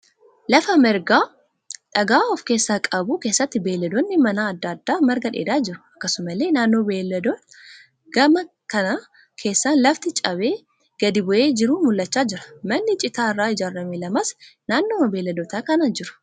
Lafa margaa dhagaa of keessaa qabu keessatti beeyiladoonni manaa adda addaa marga dheedaa jiru. Akkasumallee naannoo beeyiladoota kanaa gama keessaan lafti cabee gadi bu'ee jiru mul'achaa jira. Manni citaa irraa ijaarame lamas naannooma beeyiladoota kanaa jiru.